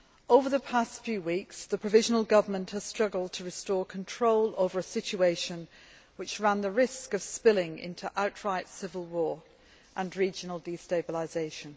Over the past few weeks, the provisional government has struggled to restore control over a situation which ran the risk of spilling into outright civil war and regional destabilisation.